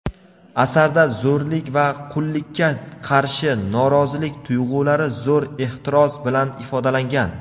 Asarda zo‘rlik va qullikka qarshi norozilik tuyg‘ulari zo‘r ehtiros bilan ifodalangan.